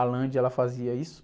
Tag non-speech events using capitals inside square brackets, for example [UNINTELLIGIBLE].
A, [UNINTELLIGIBLE] ela fazia isso.